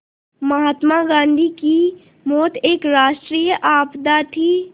महात्मा गांधी की मौत एक राष्ट्रीय आपदा थी